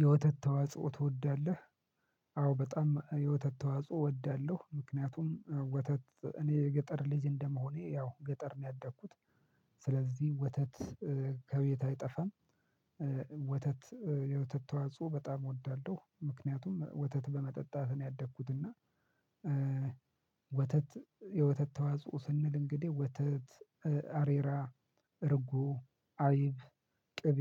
የወተት ተዋጽኦ ትወዳለህ? አዎ በጣም የወተት ተዋጽኦ እወዳለሁ ምክንያቱም ወተት እኔ የገጠር ልጅ እንደመሆኔ ያው ገጠር ነው ያደግኩት። ስለዚህ ወተት ከቤት አይጠፋም። ወተት የወተት ተዋጽኦ በጣም እወዳለሁ ምክንያቱም ወተት በመጠጣት ነው ያደግኩት እና። ወተት የወተት ተዋጽኦ ስንል እንግዲህ ወተት አሬራ እርጉ አይብ ቅቤ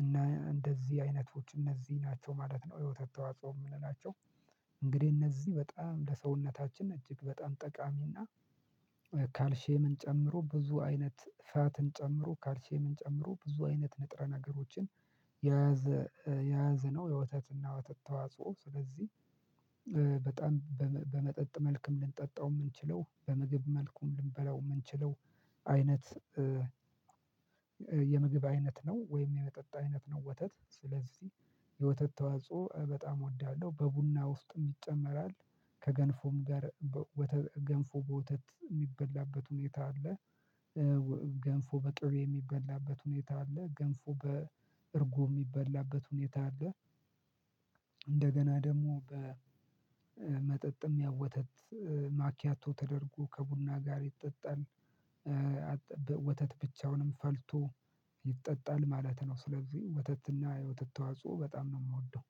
እና እንደዚህ አይነቶች እነዚህ ናቸው ማለት ነው። የወተት ተዋጽኦ የምንላቸው። እንግዲህ እነዚህ በጣም ለሰውነታችን እጅግ በጣም ጠቃሚና ካልሼምን ጨምሮ ብዙ አይነት ፋትን ጨምሮ ካልሼምን ጨምሮ ብዙ አይነት ንጥረ ነገሮችን። የያዘ የያዘነው የወተትና ወተት ተዋጽኦ ስለዚህ። በጣም በመጠጥ መልኩም ልንጠጣው የምንችለው በምግብ መልኩም ልንበላው የምንችለው አይነት የምግብ አይነት ነው ወይም የመጠጥ አይነት ነው። ወተት ስለዚህ የወተት ተዋጽኦ በጣም እወዳለሁ። በቡና ውስጥ ይጨመራል ከገንፎም ጋር በወተ ገንፎ በወተት የሚበላበት ሁኔታ አለ። ገንፎ በቅቤ የሚበላበት ሁኔታ አለ ገንፎ በእርጎም የሚበላበት ሁኔታ አለ። እንደገና ደግሞ በመጠጥም ያው ወተት ማኪያቶ ተደርጎ ከቡና ጋር ይጠጣል። ወተት ብቻውንም ፈልቶ ይጠጣል ማለት ነው። ስለዚህ ወተትና የወተት ተዋጽኦ በጣም ነው የምወደው